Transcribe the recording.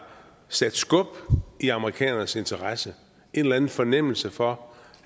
sat skub i amerikanernes interesse en eller anden fornemmelse for